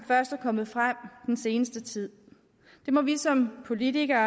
først er kommet frem den seneste tid det må vi som politikere